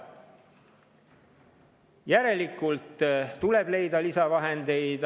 Järelikult tuleb leida lisavahendeid.